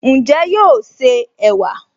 Ǹjẹ́ yóò se ẹ̀wà?